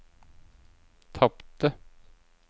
tapte